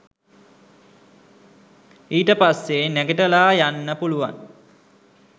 ඊට පස්සේ නැගිටලා යන්න පුළුවන්